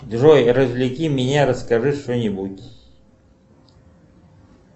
джой развлеки меня расскажи что нибудь